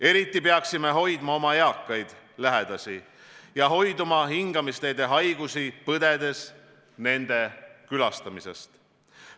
Eriti peaksime hoidma oma eakaid lähedasi ja hoiduma hingamisteede haigusi põdedes nende külastamisest.